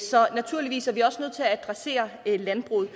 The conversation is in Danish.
så naturligvis er vi også nødt til at adressere landbruget